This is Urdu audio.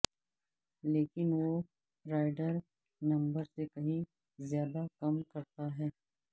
لیکن وہ رائڈر نمبر سے کہیں زیادہ کم کرتا ہے